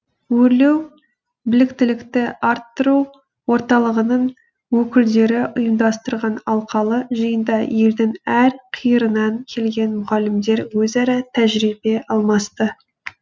өрлеу біліктілікті арттыру орталығының өкілдері ұйымдастырған алқалы жиында елдің әр қиырынан келген мұғалімдер өзара тәжірибе алмасты